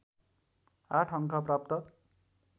८ अङ्क प्राप्त